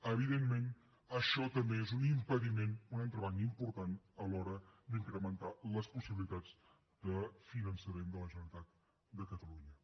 evidentment això també és un impediment un entrebanc important a l’hora d’incrementar les possibilitats de finançament de la generalitat de catalunya